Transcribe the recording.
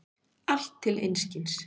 Allt til einskis.